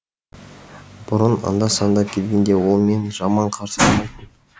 бұрын анда санда келгенде ол мені жаман қарсы алмайтын